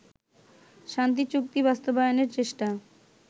শান্তি চুক্তি বাস্তবায়নের চেষ্টায়